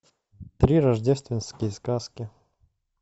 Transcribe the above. три рождественские сказки